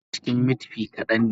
Naman da ke cikin meat pie kadan ne